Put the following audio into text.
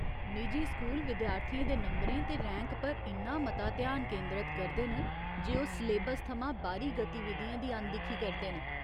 निजी स्कूल विद्यार्थियें दे नंबरें ते रैंक पर इन्ना मता ध्यान केंदरत करदे न जे ओह् सलेबस थमां बाह्‌री गतिविधियें दी अनदिक्खी करदे न।